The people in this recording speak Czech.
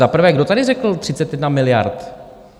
Za prvé, kdo tady řekl 31 miliard?